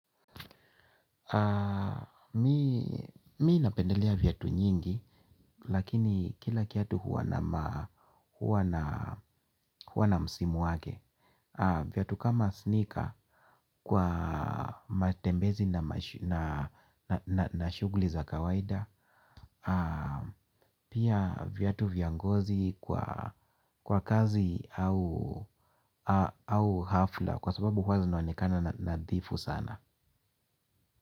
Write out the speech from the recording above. Mimi napendelea viatu nyingi lakini kila kiatu huwa na msimu wake. Viatu kama sneaker kwa matembezi na shughuli za kawaida. Pia viatu vya ngozi kwa kazi au hafla kwa sababu hua zinaonekana nadhifu sana.